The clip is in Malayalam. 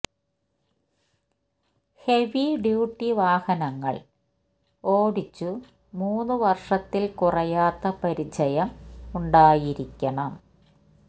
ഹെവി ഡ്യൂട്ടി വാഹനങ്ങള് ഓടിച്ചു മൂന്ന് വര്ഷത്തില് കുറയാത്ത പരിചയം ഉണ്ടായിരിക്കണം